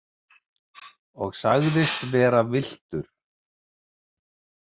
Og sagðist vera villtur?